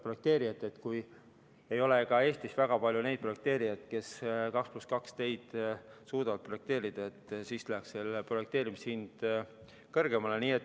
Projekteerijad on öelnud, et Eestis ei ole väga palju neid projekteerijaid, kes suudavad 2 + 2 teid projekteerida, seetõttu läheb projekteerimise hind kõrgemale.